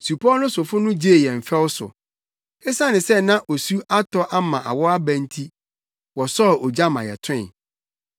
Supɔw no sofo no gyee yɛn fɛw so. Esiane sɛ na osu atɔ ama awɔw aba nti, wɔsɔɔ ogya ma yɛtoe.